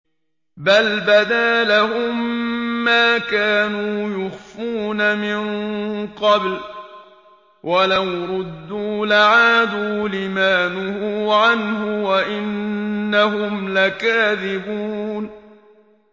بَلْ بَدَا لَهُم مَّا كَانُوا يُخْفُونَ مِن قَبْلُ ۖ وَلَوْ رُدُّوا لَعَادُوا لِمَا نُهُوا عَنْهُ وَإِنَّهُمْ لَكَاذِبُونَ